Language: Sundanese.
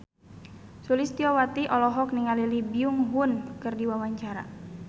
Sulistyowati olohok ningali Lee Byung Hun keur diwawancara